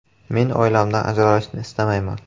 Men oilamdan ajralishni istamayman.